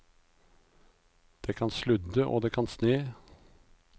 Det kan sludde og det kan sne.